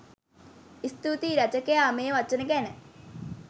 ස්තුතියි! රචකයා මේ වචන ගැන